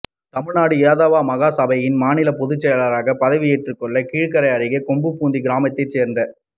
தமிழ்நாடு யாதவ மகா சபையின் மாநில பொதுச்செயலாளராக பதவி ஏற்றுள்ள கீழக்கரை அருகே கொம்பூதி கிராமத்தை சேர்ந்த